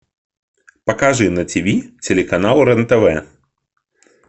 покажи на тв телеканал рен тв